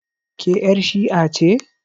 Ke yar' shi'a ce?